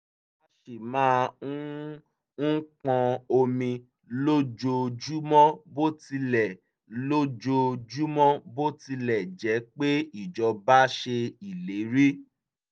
a ṣì máa um ń pọn omi lójoojúmọ́ bó tilẹ̀ lójoojúmọ́ bó tilẹ̀ jẹ́ pé ijọba ṣe ìlérí